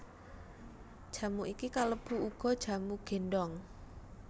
Jamu iki kalebu uga jamu gendong